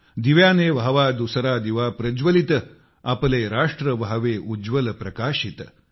दिव्याने व्हावा दुसरा दिवा प्रज्वलित आपले राष्ट्र व्हावे उज्वल प्रकाशित